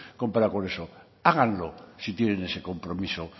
comparado con eso háganlo si tienen ese compromiso